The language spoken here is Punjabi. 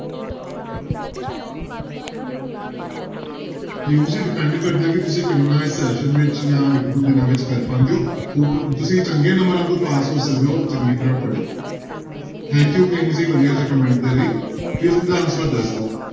ਪਿਊਸ ਜੀ depend ਕਰਦਾ ਕਿ ਤੁੁਸੀਂ ਕਿੰਨਾ ਇਸ session ਵਿੱਚ ਜਾਂ ਇੱਕ ਦੋ ਦਿਨਾਂ ਵਿੱਚ ਕਰ ਪਾਉਂਦੇ ਹੋ ਤੁਸੀਂ ਚੰਗੇ ਨੰਬਰਾਂ ਤੋਂ ਪਾਸ ਹੋ ਸਕਦੇ ਹੋ ਚੰਗੀ ਤਰ੍ਹਾਂ ਪੜ੍ਹ ਕੇ thank you ਕਿੰਗ ਜੀ ਵਧੀਆ ਜਿਹੇ comment ਦੇ ਲਈ fifth ਦਾ answer ਦੱਸ ਦਓ।